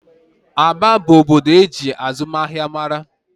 Aba bụ obodo eji azụmahịa mara